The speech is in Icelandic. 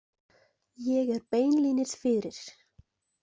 Ég er beinlínis fyrir.